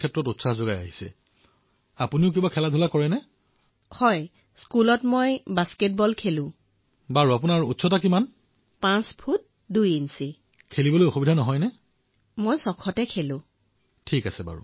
ৱাহ আচ্ছা আপুনি মাৰ পৰা কি কি শিকিছে